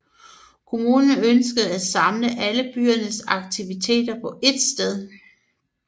Kommunen ønskede at samle alle byens aktiviteter på ét sted